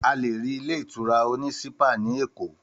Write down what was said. Àlè rí ilé ìtura òní ṣípà ni Ékò.